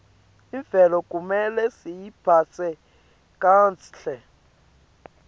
imvelo kumele siyiphatse kahle